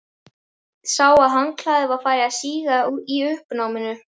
Sá að handklæðið var farið að síga í uppnáminu.